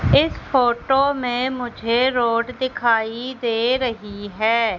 इस फोटो में मुझे रोड दिखाई दे रही है।